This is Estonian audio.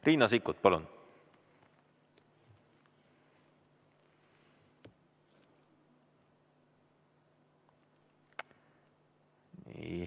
Riina Sikkut, palun!